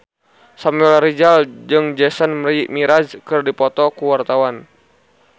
Samuel Rizal jeung Jason Mraz keur dipoto ku wartawan